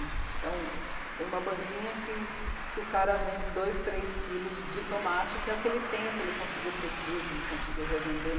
Então, tem uma banquinha que. que o cara vende dois, três quilos de tomate, que é o que ele tem, o que ele conseguiu produzir, o que ele conseguiu revender.